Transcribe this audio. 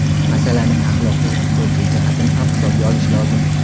Masalaning axloqiy-huquqiy jihatini ham hisobga olish lozim.